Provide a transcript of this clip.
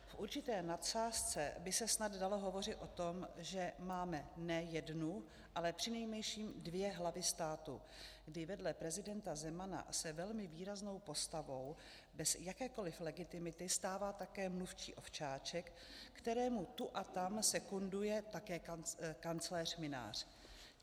V určité nadsázce by se snad dalo hovořit o tom, že máme ne jednu, ale přinejmenším dvě hlavy státu, kdy vedle prezidenta Zemana se velmi výraznou postavou bez jakékoli legitimity stává také mluvčí Ovčáček, kterému tu a tam sekunduje také kancléř Mynář.